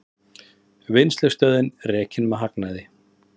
Vinnslustöðin rekin með hagnaði